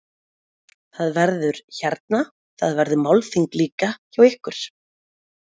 Sunna: Það verður, hérna, það verður málþing líka hjá ykkur?